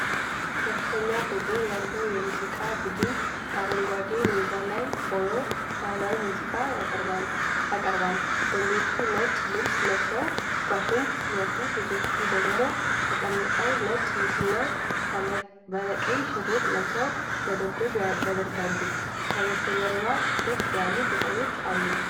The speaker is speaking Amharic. ከፍተኛ ቁጥር ያለው የሙዚቃ ቡድን በአረንጓዴ ሜዳ ላይ ሆኖ ባህላዊ ሙዚቃ ያቀርባል። ወንዶቹ ነጭ ልብስ ለብሰው ዋሽንት ሲነፉ፣ ሴቶቹ ደግሞ ተቀምጠው ነጭ ልብስና ባለቀይ ሽርጥ ለብሰው መደብደብ ያደርጋሉ። ከበስተጀርባ ጥቅጥቅ ያሉ ቅጠሎች አሉ።